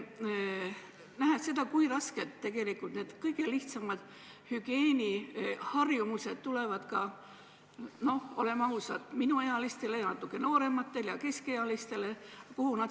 Näen, kui raskelt tegelikult need kõige lihtsamad hügieeniharjumused tulevad, olgem ausad, minuealistel ja natuke noorematel ja keskealistel.